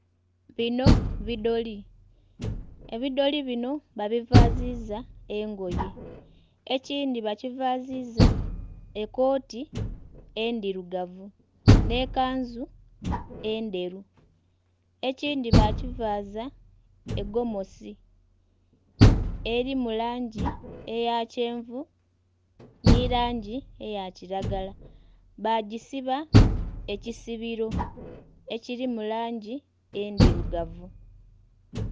Bino bidoli, ebidoli bino babivaaziza engoye. Ekindhi bakivaaziza ekooti endhirugavu, nh'ekanzu endheru. Ekindhi bakivaaza egomasi, eli mu langi eya kyenvu nhi langi eya kilagala. Baagisiba ekisibiro ekiri mu langi endhirugavu.